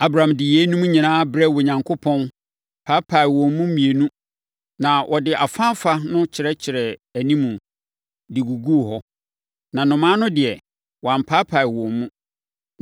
Abram de yeinom nyinaa brɛɛ Onyankopɔn, paapae wɔn mu mmienu, na ɔde afaafa no kyerɛkyerɛɛ animu, de guguu hɔ. Na nnomaa no deɛ, wampaapae wɔn mu.